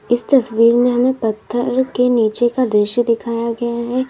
इस तस्वीर में हमें पत्थर के नीचे का दृश्य दिखाया गया है।